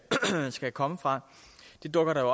skal komme fra dukker der